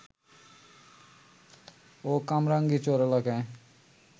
ও কামরাঙ্গীরচর এলাকায়